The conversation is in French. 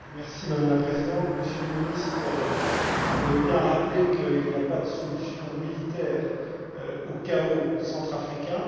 Madame la Présidente, Monsieur le Ministre, vous avez bien rappelé qu'il n'y a pas de solution militaire au chaos centrafricain.